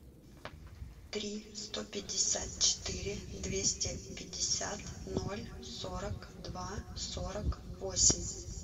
тридцать три сто пятьдесят четыре двести пятьдесят ноль сорок два сорок восемь